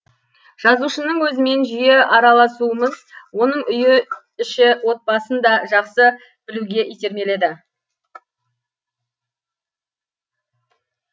жазушының өзімен жиі араласуымыз оның үй іші отбасын да жақсы білуге итермеледі